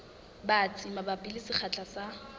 batsi mabapi le sekgahla sa